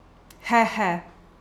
He, he!